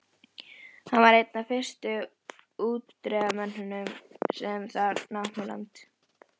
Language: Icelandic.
Hann var einn af fyrstu útgerðarmönnunum sem þar námu land.